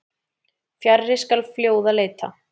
Fjarri skal fljóða leita.